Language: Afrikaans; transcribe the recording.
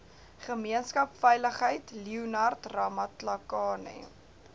gemeenskapsveiligheid leonard ramatlakane